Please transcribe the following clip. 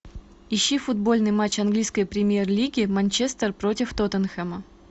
ищи футбольный матч английской премьер лиги манчестер против тоттенхэма